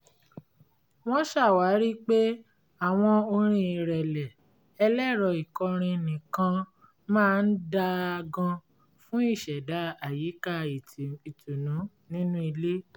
wọ́n ṣàwárí pé àwọn orin ìrẹ̀lẹ̀ ẹlẹ́rọ ìkọrin nìkan máa ń dáa gan fún ìṣẹ̀dá àyìká ìtùnnú nínú ilé